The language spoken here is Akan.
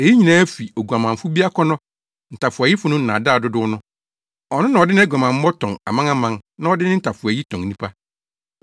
Eyi nyinaa fi oguamanfo bi akɔnnɔ, ntafowayifo no nnaadaa dodow no. Ɔno na ɔde nʼaguamammɔ tɔn amanaman na ɔde ne ntafowayi tɔn nnipa.